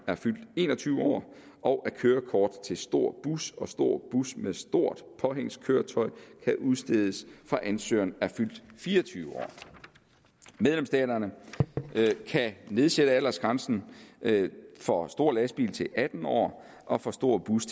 er fyldt en og tyve år og at kørekort til stor bus og til stor bus med stort påhængskøretøj kan udstedes fra ansøgeren er fyldt fire og tyve år medlemsstaterne kan nedsætte aldersgrænsen for stor lastbil til atten år og for stor bus